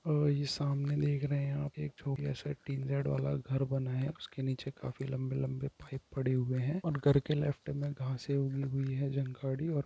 और ये सामने देख रहें हैं आप एक छोटा सा टिन शेड वाला घर बना हे उसके निचे काफी लम्बे-लम्बे पाइप पड़े हुए हैं उन घर के लेफ्ट में घासें उगी हुई हैं --